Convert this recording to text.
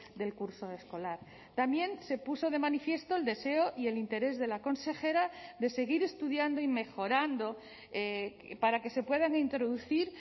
del curso escolar también se puso de manifiesto el deseo y el interés de la consejera de seguir estudiando y mejorando para que se puedan introducir